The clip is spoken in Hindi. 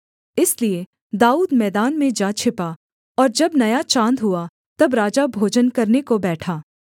इसलिए दाऊद मैदान में जा छिपा और जब नया चाँद हुआ तब राजा भोजन करने को बैठा